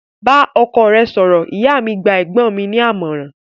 Bá ọkọ rẹ sọ̀rọ̀!, ìyá mi gba ẹ̀gbọ́n mi ní àmọ̀ràn